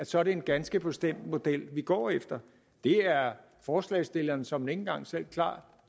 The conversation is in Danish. så er en ganske bestemt model vi går efter det er forslagsstillerne såmænd ikke engang selv klar